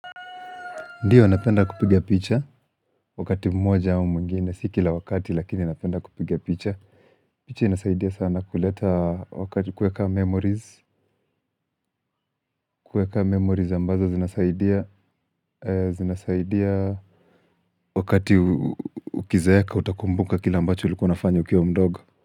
Ndiyo, napenda kupigia picha wakati mmoja au mwingine, si kila wakati lakini napenda kupigia picha. Picha inasaidia sana kuleta wakati kuweka memories, kueka memories ambazo zinasaidia, zinasaidia wakati ukizeeka utakumbuka kila ambacho ulikuwaunafanya ukiwa mdogo.